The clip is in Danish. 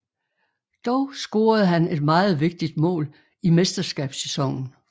Dog scorede han et meget vigtigt mål i mesterskabssæsonen